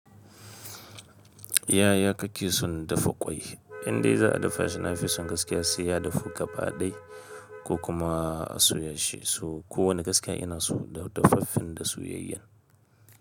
Yaya kake son dafa ƙwai? Indai za a dafa shi nafi son gaskiya, sai ya dafu gaba ɗai ko kuma a soya shi. So kowane gaska ina so dafaffen da suoyayyan.